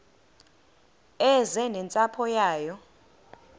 eze nentsapho yayo